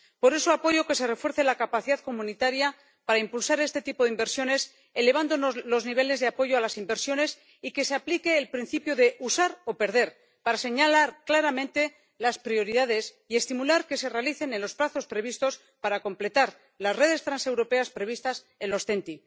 Por eso, apoyo que se refuerce la capacidad comunitaria para impulsar este tipo de inversiones, elevando los niveles de apoyo a las inversiones, y que se aplique el principio de usar o perder, para señalar claramente las prioridades y estimular que se realicen en los plazos previstos para completar las redes transeuropeas previstas en las TEN T.